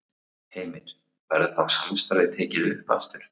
Heimir: Verður þá samstarfið tekið upp aftur?